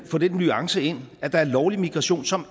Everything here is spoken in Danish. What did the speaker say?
få den nuance ind at der er lovlig migration som